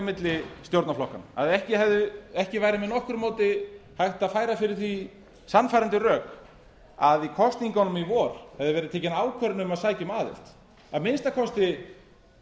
milli stjórnarflokkanna að ekki væri með nokkru móti hægt að færa fyrir því sannfærandi rök að í kosningunum í vor hefði verið tekin ákvörðun um að sækja um aðild að minnsta kosti